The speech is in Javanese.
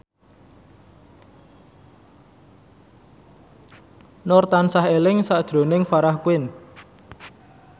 Nur tansah eling sakjroning Farah Quinn